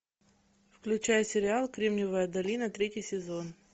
включай сериал кремниевая долина третий сезон